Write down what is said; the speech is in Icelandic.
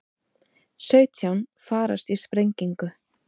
Sautján farast í sprengingu